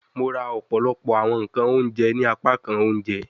Mo ra ọpọlọpọ awọn nkan ounjẹ ni apakan ounjẹ